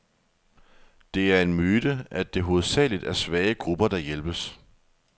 Det er en myte, at det hovedsageligt er svage grupper, der hjælpes.